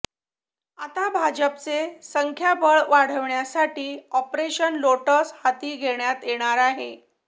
आता भाजपचे संख्याबळ वाढविण्यासाठी आॅपरेशन लोटस हाती घेण्यात येणार आहे